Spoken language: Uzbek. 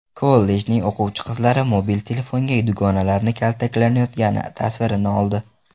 Kollejning o‘quvchi qizlari mobil telefonga dugonalari kaltaklanayotgani tasvirini oldi .